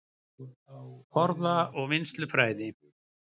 Forða- og vinnslufræði